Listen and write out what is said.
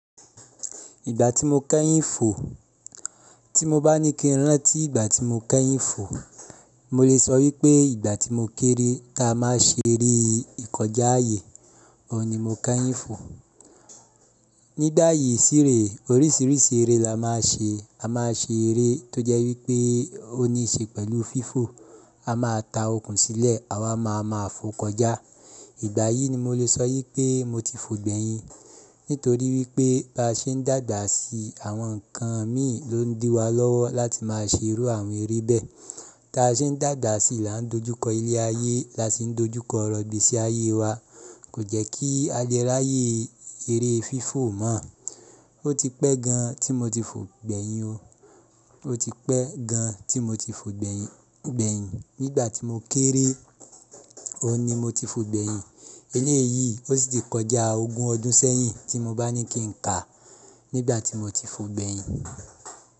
Ìgbà tí mo kẹ́yìn fò, tí mo bá ní kí n rán tí ìgbà tí mo kẹ́yìn fò, mo lè sọ wípé ìgbà tí mo kéré tá a máa ṣe eré ìkọjá àyè, ọò ni mo kẹ́yìn fò. Nígbá yì sí ree orísìírísìí eré la máa nṣe, a máa ṣe eré tó jẹ́ wípé ó ní ṣe pẹ̀lú fífò, a máa ta okùn sílẹ̀, àwa máa ma fò kọjá. Ìgbà yìí ni mo lè sọ wípé mo ti fò gbẹ̀yin. Nítorí wípé bá ṣe ń dàgba sií àwọn ǹkan míì ló ń dí wa lọ́wọ́ láti máa ṣe irú àwọn eré bẹ́ẹ̀. Tá a ṣe ń dàda sí i là ń dojú kọ ilé ayé, là sì ń dojú kọ ọ̀rọ̀ igbesí ayé wa. Kò jẹ́ kí a Le r'ayé eré fífò mọ́. Ó ti pẹ́ gan tí mo ti fò gbẹ̀yin o. Ó ti pẹ́ gan tí mo ti fò gbẹ̀yin, gbẹ̀yin. Nígbà tí mo kéré, oun ni mo ti fò gbẹ̀yin. Eléyìí ó sì ti kọjá ogún ọdún sẹ́yìn tí mo bá ní kí n kà, nígbà tí mo ti fò gbẹ̀yin.